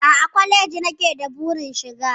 A'a, kwaleji nake da burin shiga